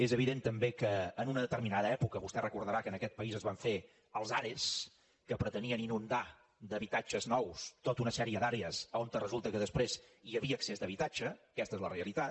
és evident també que en una determinada època vostè deu recordar que en aquest país es van fer els are que pretenien inundar d’habitatges nous tota una sèrie d’àrees on resulta que després hi havia excés d’habitatge aquesta és la realitat